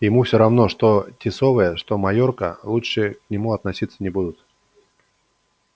ему всё равно что тисовая что майорка лучше к нему относиться не будут